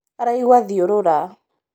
araigua thiũrũra